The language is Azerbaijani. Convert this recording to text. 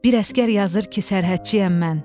Bir əsgər yazır ki, sərhədçiyəm mən.